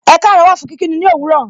Ekaaro wà fún kí kí ni òwúrọ̀.